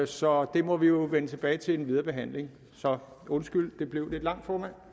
så det må vi jo vende tilbage til i den videre behandling undskyld det blev lidt langt formand